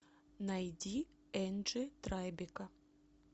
найди энджи трайбека